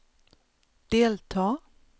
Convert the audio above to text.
delta